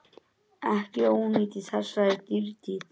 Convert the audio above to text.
Ekki ónýtt í þessari dýrtíð.